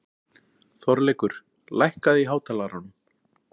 Þorleikur, lækkaðu í hátalaranum.